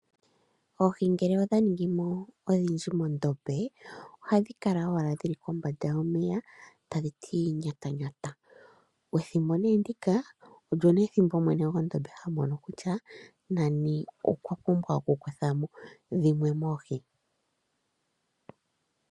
Oohi ngele odha ningi mo odhindji mondombe, ohadha kala owala dhi li komba tadhi ti miki miki. Pethimbo ndika, opo wo mwene gwondombe ha mono kutya nani okwa pumbwa okukutha mo oohi dhimwe.